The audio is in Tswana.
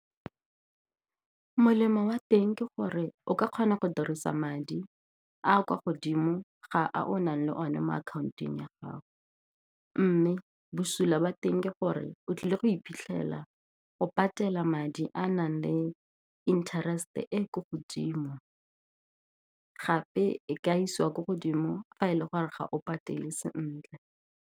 Molemo wa teng ke gore o ka kgona go dirisa madi a kwa godimo ga a o nang le one mo akhaontong ya gago. Mme bosula ba teng ke gore o tlile go iphitlhela o patela madi a a nang le interest-e e ko godimo, gape e ka isiwa ko godimo fa e le gore ga o patele sentle.